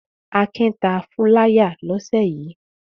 Akin ta fúláyà lọ́sẹ̀ yìí.